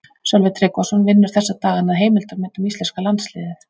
Sölvi Tryggvason vinnur þessa dagana að heimildarmynd um íslenska landsliðið.